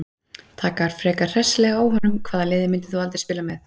Taka frekar hressilega á honum Hvaða liði myndir þú aldrei spila með?